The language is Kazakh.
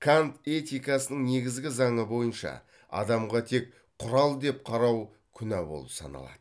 кант этикасының негізгі заңы бойынша адамға тек құрал деп қарау күнә болып саналады